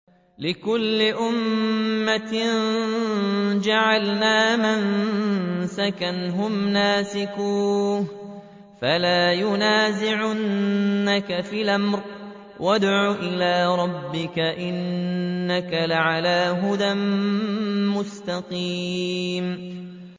لِّكُلِّ أُمَّةٍ جَعَلْنَا مَنسَكًا هُمْ نَاسِكُوهُ ۖ فَلَا يُنَازِعُنَّكَ فِي الْأَمْرِ ۚ وَادْعُ إِلَىٰ رَبِّكَ ۖ إِنَّكَ لَعَلَىٰ هُدًى مُّسْتَقِيمٍ